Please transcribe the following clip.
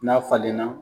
N'a falenna